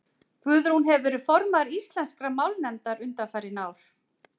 Guðrún hefur verið formaður Íslenskrar málnefndar undanfarin ár.